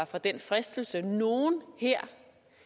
fra denne fristelse der er nogle her